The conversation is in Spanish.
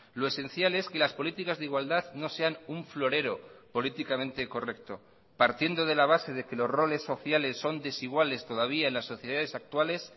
lo esencial es que las políticas de igualdad no sean un florero políticamente correcto partiendo de la base de que los roles sociales son desiguales todavía en las sociedades actuales